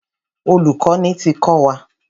Olùkọ́ni ti kọ́ wa.